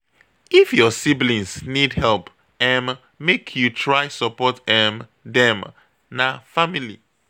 If your siblings need help, um make you try support um dem, na family.